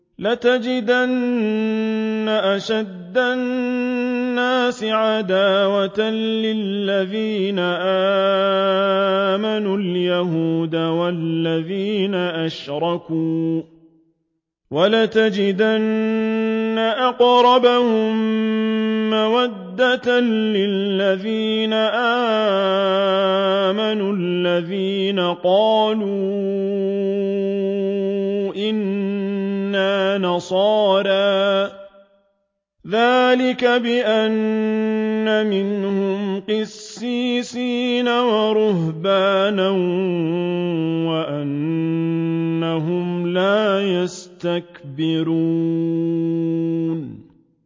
۞ لَتَجِدَنَّ أَشَدَّ النَّاسِ عَدَاوَةً لِّلَّذِينَ آمَنُوا الْيَهُودَ وَالَّذِينَ أَشْرَكُوا ۖ وَلَتَجِدَنَّ أَقْرَبَهُم مَّوَدَّةً لِّلَّذِينَ آمَنُوا الَّذِينَ قَالُوا إِنَّا نَصَارَىٰ ۚ ذَٰلِكَ بِأَنَّ مِنْهُمْ قِسِّيسِينَ وَرُهْبَانًا وَأَنَّهُمْ لَا يَسْتَكْبِرُونَ